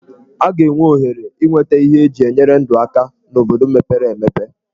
A ga-enwe ohere inweta ihe eji enyere ndụ aka n'obodo mepere emepe.